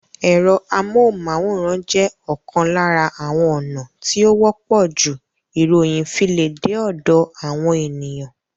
Ẹ̀rọ amóhùnmáwòrán jẹ́ ọ̀kan lára àwọn ònà tí ó wọ́pọ̀ jù ìròyìn fi le dé ọ̀dọ̀ àwọn ènìyàn